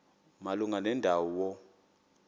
malunga nenda wo